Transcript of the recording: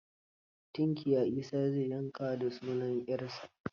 Tinkiya Isa zai yanka da sunan 'yarsa